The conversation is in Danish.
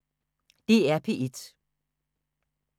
DR P1